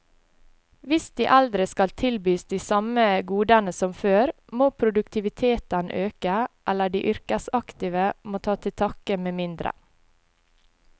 Hvis de eldre skal tilbys de samme godene som før, må produktiviteten øke, eller de yrkesaktive må ta til takke med mindre.